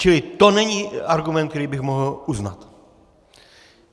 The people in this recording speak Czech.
Čili to není argument, který bych mohl uznat.